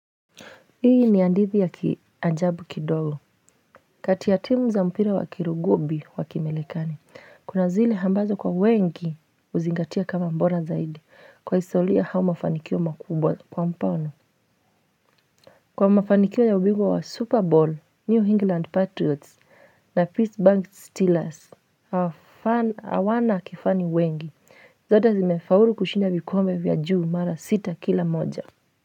Hii ni andithi ya kiajabu kidogo, kati ya timu za mpira wa kirugubi wa kimelekani, kunazili hambazo kwa wengi uzingatia kama mbona zaidi, kwa isaulia hao mafanikio makubwa kwa mpano. Kwa mafanikio ya ubingwa wa Super Bowl, New England Patriots na Peace Bank Steelers, awana kifani wengi, zote zimefaulu kushinda vikombe vya juu mara sita kila moja.